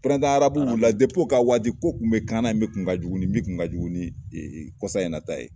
arabu wuli la ka waati ko tun bɛ k'an na ye min kun ka jugu nin min kun ka jugu nin kɔsa in na ta ye.